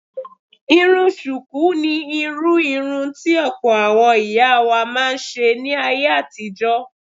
Irun ṣùkú ni irú irun tí ọ̀pọ̀ àwọn ìyá wa máa ń ṣe ní ayé àtijó.